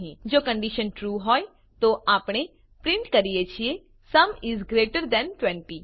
જો condition true હોય તો આપણે પ્રીંટ કરીએ છીએ સુમ ઇસ ગ્રેટર થાન 20